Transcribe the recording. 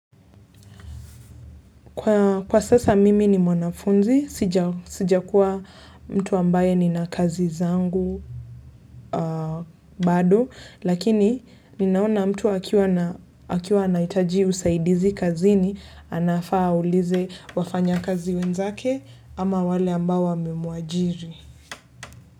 Kwa sasa mimi ni mwanafunzi, sija kuwa mtu ambae ni na kazi zangu bado, lakini ninaona mtu akiwa na anahitaji usaidizi kazini, anafaa ulize wafanya kazi wenzake ama wale ambao wamemuajiri.